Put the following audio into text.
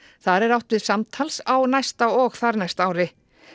þar er átt við samtals á næsta og þarnæsta ári